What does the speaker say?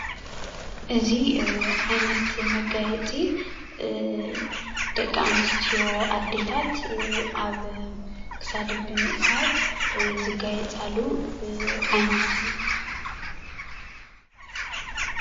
እዚ ዓይነት መጋየፂ ደቂ አንስትዮ አዴታት አብ ክሳደን ብምእሳር ዝጋየፃሉ ዓይነት እዩ።